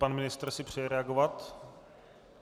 Pan ministr si přeje reagovat.